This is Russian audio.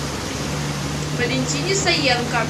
валентине саенко